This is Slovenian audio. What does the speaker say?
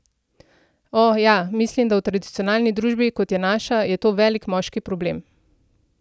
O, ja, mislim, da v tradicionalni družbi, kot je naša, je to velik moški problem.